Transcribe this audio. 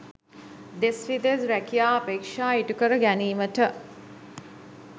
දෙස් විදෙස් රැකියා අපේක්‍ෂා ඉටු කර ගැනීමට